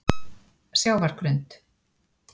Sjávargrund